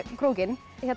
krókinn